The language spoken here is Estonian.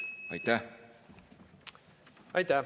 Aitäh!